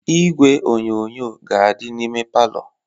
Igwe onyonyo ga-adị n'ime palọ